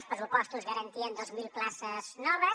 els pressupostos garantien dos mil places noves